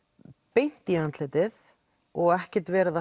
beint í andlitið og ekkert verið að